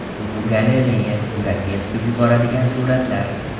Fotogalereya: Yurakni eritib yuboradigan suratlar.